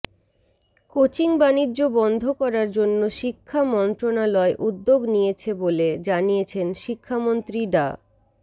কোচিংবাণিজ্য বন্ধ করার জন্য শিক্ষা মন্ত্রণালয় উদ্যোগ নিয়েছে বলে জানিয়েছেন শিক্ষামন্ত্রী ডা